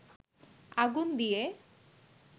আগুন দিয়ে